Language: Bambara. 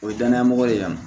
O ye danayamɔgɔ ye yan